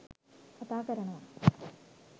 කතා කරනව.